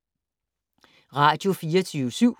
Radio24syv